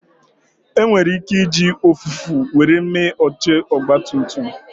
E nwere ike iji ụfụfụ were mee oche Ọgba tum tum